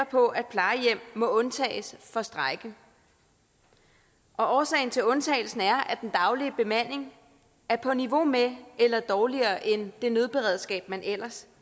på at plejehjem må undtages for strejke årsagen til undtagelsen er at den daglige bemanding er på niveau med eller dårligere end det nødberedskab man ellers